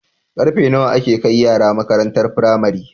Karfe nawa ake kai yara makarantar pramari